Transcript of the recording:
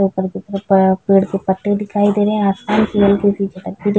पेड़ के पत्ते दिखाई दे रहे है आसमान --